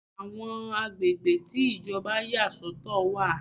Àwọn agbègbè tí Ìjọba yà sọ̀tọ̀ wà.